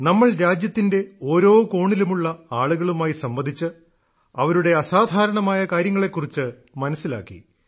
നമ്മൾ രാജ്യത്തിന്റെ ഓരോ കോണിലുമുള്ള ആളുകളുമായി സംവദിച്ച് അവരുടെ അസാധാരണമായ കാര്യങ്ങളെ കുറിച്ച് മനസ്സിലാക്കി